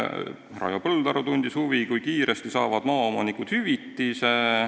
Raivo Põldaru tundis huvi, kui kiiresti saavad maaomanikud hüvitise.